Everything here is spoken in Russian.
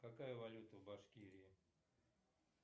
какая валюта в башкирии